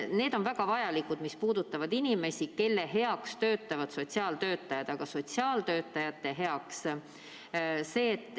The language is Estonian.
Need on väga vajalikud sammud, mis puudutavad inimesi, kelle heaks töötavad sotsiaaltöötajad.